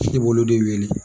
Sidi b'olu de wele.